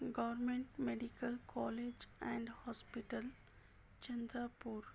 government medical college and hospital Chandrapur--